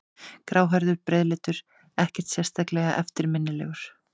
Gráhærður, breiðleitur, ekkert sérlega eftirminnilegur.